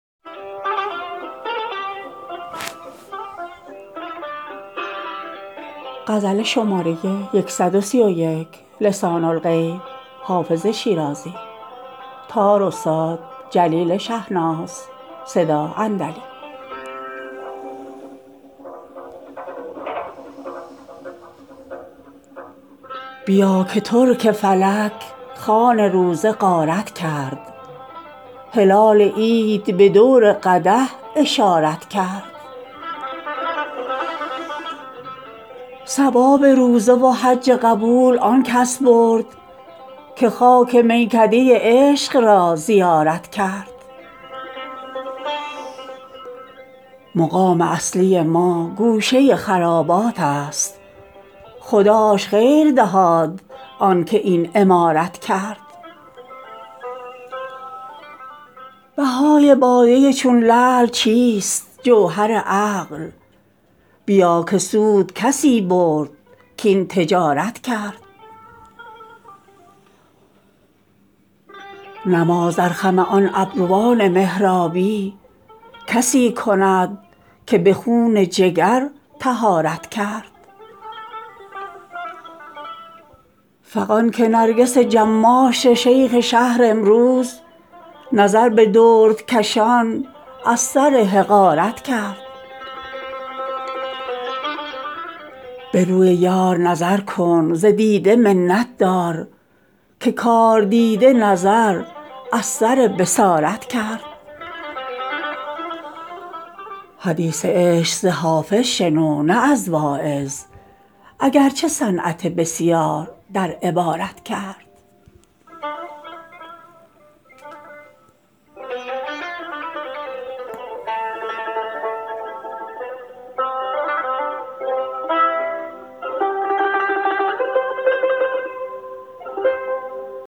بیا که ترک فلک خوان روزه غارت کرد هلال عید به دور قدح اشارت کرد ثواب روزه و حج قبول آن کس برد که خاک میکده عشق را زیارت کرد مقام اصلی ما گوشه خرابات است خداش خیر دهاد آن که این عمارت کرد بهای باده چون لعل چیست جوهر عقل بیا که سود کسی برد کاین تجارت کرد نماز در خم آن ابروان محرابی کسی کند که به خون جگر طهارت کرد فغان که نرگس جماش شیخ شهر امروز نظر به دردکشان از سر حقارت کرد به روی یار نظر کن ز دیده منت دار که کاردیده نظر از سر بصارت کرد حدیث عشق ز حافظ شنو نه از واعظ اگر چه صنعت بسیار در عبارت کرد